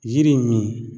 Yiri min